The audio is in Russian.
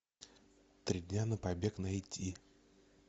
три дня на побег найти